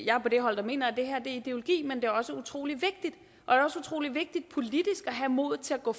jeg er på det hold der mener at det her er ideologi men det også utrolig vigtigt politisk at have modet til at gå